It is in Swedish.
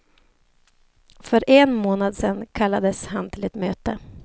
För en månad sedan kallades han till ett möte.